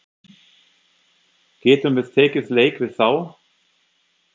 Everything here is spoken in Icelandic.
Getum við tekið leik við þá?